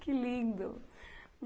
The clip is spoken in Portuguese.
Que lindo.